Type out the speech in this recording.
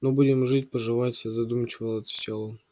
ну будем жить поживать задумчиво отвечает он